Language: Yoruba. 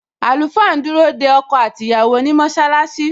Àlùfáà ń dúró de ọkọ àti ìyàwó ni mọṣálásí